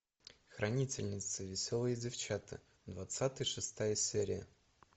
хранительницы веселые девчата двадцатая шестая серия